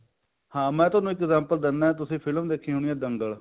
ਹਾਂ ਮੈਂ ਤੁਹਾਨੂੰ example ਦਿੰਨਾ ਫਿਲਮ ਦੇਖੀ ਹੋਣੀ ਆ ਦੰਗਲ